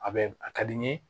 A bɛ a ka di n ye